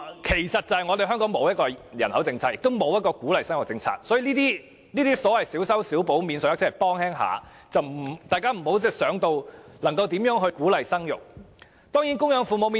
其實，真正的原因是香港沒有人口政策，也沒有鼓勵生育的政策，這些小修小補的免稅額只是略為幫忙，大家不要扯到鼓勵生育方面。